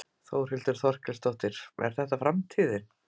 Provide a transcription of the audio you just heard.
Þórhildur Þorkelsdóttir: Er þetta framtíðin?